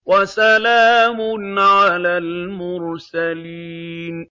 وَسَلَامٌ عَلَى الْمُرْسَلِينَ